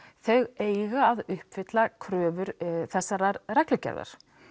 þau eiga að uppfylla kröfur þessarar reglugerðar